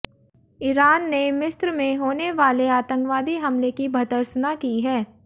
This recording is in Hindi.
ईरान ने मिस्र में होने वाले आतंकवादी हमले की भर्त्सना की है